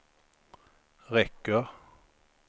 räcker